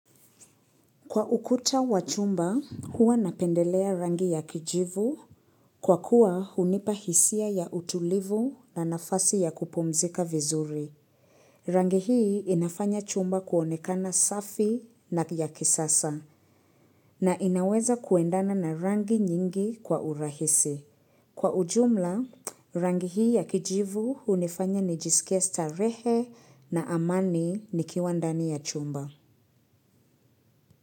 Kwa ukuta wa chumba, huwa napendelea rangi ya kijivu kwa kuwa hunipa hisia ya utulivu na nafasi ya kupumzika vizuri. Rangi hii inafanya chumba kuonekana safi na ya kisasa na inaweza kuendana na rangi nyingi kwa urahisi. Kwa ujumla, rangi hii ya kijivu hunifanya nijisikie starehe na amani nikiwa ndani ya chumba.